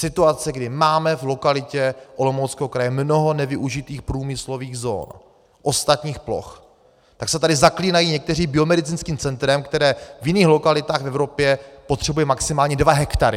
Situace, kdy máme v lokalitě Olomouckého kraje mnoho nevyužitých průmyslových zón, ostatních ploch, tak se tady zaklínají někteří biomedicínským centrem, které v jiných lokalitách v Evropě potřebuje maximálně dva hektary.